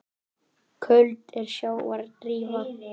Köld er sjávar drífa.